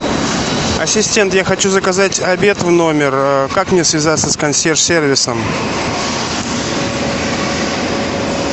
ассистент я хочу заказать обед в номер как мне связаться с консьерж сервисом